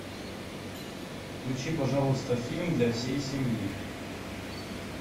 включи пожалуйста фильм для всей семьи